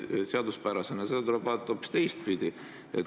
Seda tuleb vaadata hoopis teistpidi.